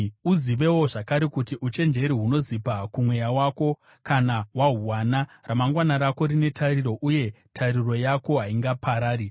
Uzivewo zvakare kuti uchenjeri hunozipa kumweya wako; kana wahuwana, ramangwana rako rine tariro, uye tariro yako haingaparari.